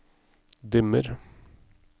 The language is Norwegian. dimmer